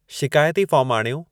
शिकायती फ़ार्मु आणियो